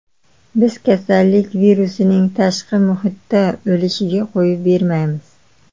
Biz kasallik virusining tashqi muhitda o‘lishiga qo‘yib bermayapmiz.